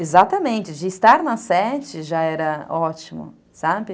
Exatamente, de estar na sete já era ótimo, sabe?